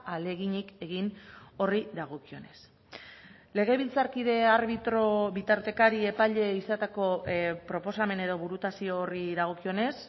ahaleginik egin horri dagokionez legebiltzarkide arbitro bitartekari epaile izateko proposamen edo burutazio horri dagokionez